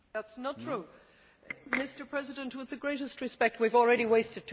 Mr President, with the greatest respect, we have already wasted two minutes talking about it.